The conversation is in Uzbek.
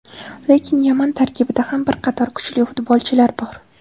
Lekin Yaman tarkibida ham bir qator kuchli futbolchilar bor.